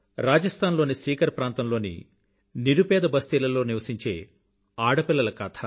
రాజస్థాన్ లో సీకర్ ప్రాంతంలోని నిరుపేద బస్తీలలో నివసించే ఆడపిల్లల కథ